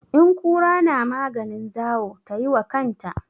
In kura na maganin zawo tai wa kanta.